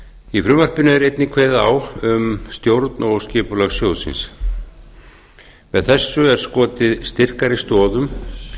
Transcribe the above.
í frumvarpinu er einnig kveðið á um stjórn og skipulag sjóðsins með þessu er skotið styrkari stoðum